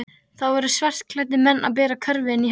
Það voru svartklæddir menn að bera körfu inn í hann.